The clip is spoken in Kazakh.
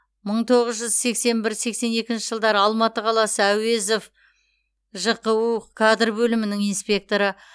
мың тоғыз жүз сексен бір сексен екінші жылдары алматы қаласы әуезов жқу кадр бөлімінің инспекторы